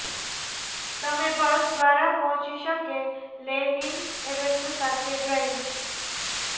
તમે બસ દ્વારા પહોંચી શકે લેનિન એવન્યુ સાથે ડ્રાઇવિંગ